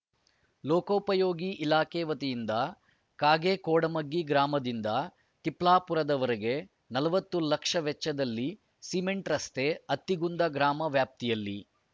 ಲೋಕೋಪಯೋಗಿ ಇಲಾಖೆ ವತಿಯಿಂದ ಕಾಗೇಕೋಡಮಗ್ಗಿ ಗ್ರಾಮದಿಂದ ತಿಪ್ಲಾಪುರದವರೆಗೆ ನಲವತ್ತು ಲಕ್ಷ ವೆಚ್ಚದಲ್ಲಿ ಸಿಮೆಂಟ್‌ ರಸ್ತೆ ಅತ್ತಿಗುಂದ ಗ್ರಾಮ ವ್ಯಾಪ್ತಿಯಲ್ಲಿ